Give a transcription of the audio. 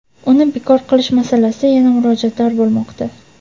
uni bekor qilish masalasida yana murojaatlar bo‘lmoqda.